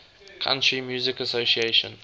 country music association